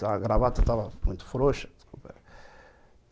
A gravata estava muito frouxa.